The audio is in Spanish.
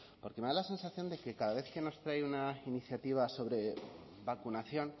porque me da la sensación de que cada vez que nos trae una iniciativa sobre vacunación